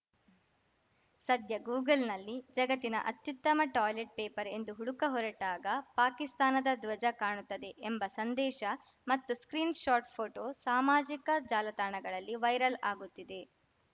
ಸದ್ಯ ಗೂಗಲ್‌ನಲ್ಲಿ ಜಗತ್ತಿನ ಅತ್ಯುತ್ತಮ ಟಾಯ್ಲೆಟ್‌ ಪೇಪರ್‌ ಎಂದು ಹುಡುಕಹೊರಟಾಗ ಪಾಕಿಸ್ತಾನದ ಧ್ವಜ ಕಾಣುತ್ತದೆ ಎಂಬ ಸಂದೇಶ ಮತ್ತು ಸ್ಕ್ರೀನ್‌ ಶಾಟ್‌ ಫೋಟೋ ಸಾಮಾಜಿಕ ಜಾಲತಾಣಗಳಲ್ಲಿ ವೈರಲ್‌ ಆಗುತ್ತಿದೆ